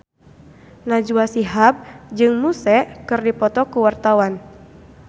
Najwa Shihab jeung Muse keur dipoto ku wartawan